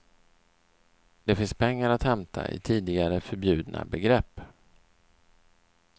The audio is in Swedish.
Det finns pengar att hämta i tidigare förbjudna begrepp.